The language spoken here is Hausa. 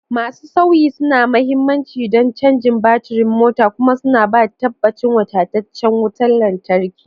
Masu-sauyi suna da mahimmanci don cajin baturin motar kuma suna ba da tabbacin wadataccen wutar lantarki.